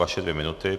Vaše dvě minuty.